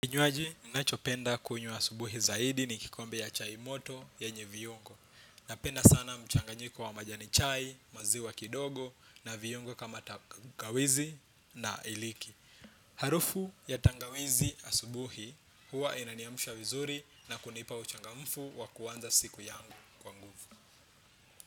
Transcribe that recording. Kinywaji, nachopenda kunywa asubuhi zaidi ni kikombe ya chai moto yenye viyungo. Napenda sana mchanganyiko wa majani chai, maziwa kidogo na viungo kama tangawizi na hiliki. Harufu ya tangawizi asubuhi, huwa inaniamsha vizuri na kunipa uchangamfu wa kuanza siku yangu kwa nguvu.